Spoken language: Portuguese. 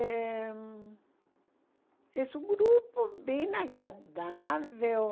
É hum, és um grupo bem agradável.